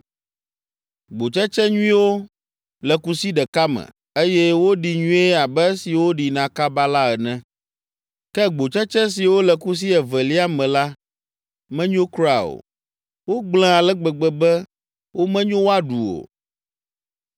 Gbotsetse nyuiwo le kusi ɖeka me, eye woɖi nyuie abe esiwo ɖina kaba la ene. Ke gbotsetse siwo le kusi evelia me la menyo kura o, wogblẽ ale gbegbe be womenyo woaɖu o.